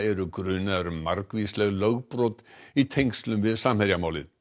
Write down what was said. grunaðir eru um margvísleg lögbrot í tengslum við Samherja málið